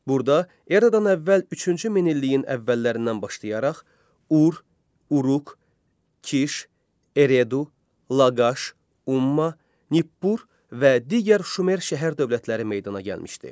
Burda Eradan əvvəl üçüncü minilliyin əvvəllərindən başlayaraq Ur, Uruq, Kiş, Eredu, Laqaş, Umma, Nippur və digər Şumer şəhər dövlətləri meydana gəlmişdi.